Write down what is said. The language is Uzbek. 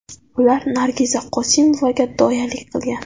Ular Nargiza Qosimovaga doyalik qilgan.